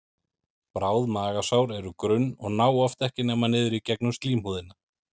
Bráð magasár eru grunn og ná oft ekki nema niður í gegnum slímhúðina.